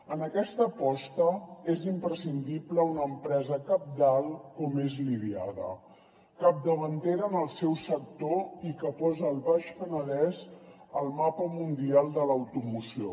en aquesta aposta és imprescindible una empresa cabdal com és la idiada capdavantera en el seu sector i que posa el baix penedès al mapa mundial de l’automoció